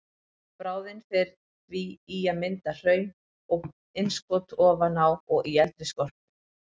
Bráðin fer því í að mynda hraun og innskot ofan á og í eldri skorpu.